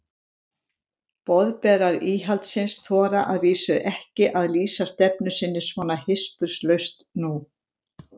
Boðberar íhaldsins þora að vísu ekki að lýsa stefnu sinni svona hispurslaust nú.